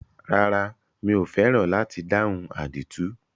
Rárá, mi ò fẹ́ràn láti dáhùn àdìtú.